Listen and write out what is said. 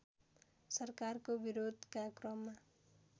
सरकारको विरोधका क्रममा